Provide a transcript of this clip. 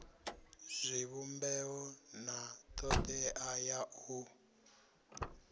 zwivhumbeo na thodea ya u